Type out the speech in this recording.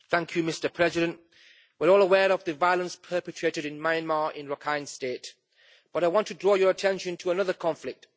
Mr President, we're all aware of the violence perpetrated in Myanmar in Rakhine State. But I want to draw your attention to another conflict.